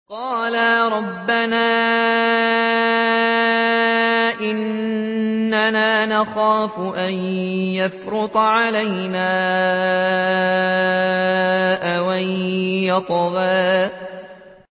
قَالَا رَبَّنَا إِنَّنَا نَخَافُ أَن يَفْرُطَ عَلَيْنَا أَوْ أَن يَطْغَىٰ